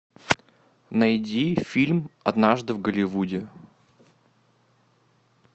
найди фильм однажды в голливуде